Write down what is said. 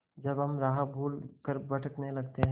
जब हम राह भूल कर भटकने लगते हैं